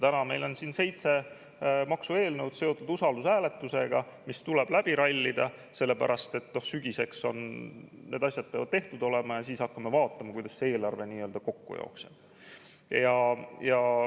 Täna meil on siin seotud usaldushääletusega seitse maksueelnõu, mis tuleb läbi rallida, sellepärast et sügiseks need asjad peavad tehtud olema ja siis hakkame vaatama, kuidas eelarve kokku jookseb.